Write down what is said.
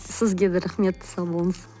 сізге де рахмет сау болыңыз